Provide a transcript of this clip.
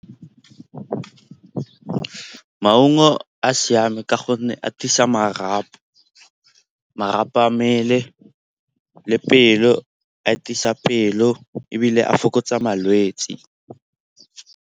Maungo a siame ka gonne a tiisa marapo. Marapo a mmele le pelo atisa pelo ebile a fokotsa malwetse.